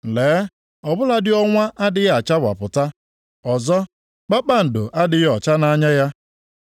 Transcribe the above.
Lee, ọ bụladị ọnwa adịghị achawapụta, ọzọ kpakpando adịghị ọcha nʼanya ya,